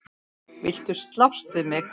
Viltu slást við mig?